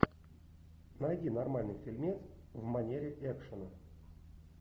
найди нормальный фильмец в манере экшена